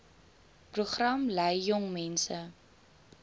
program lei jongmense